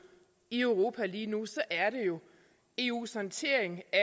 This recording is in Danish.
i europa lige nu så er det eus håndtering af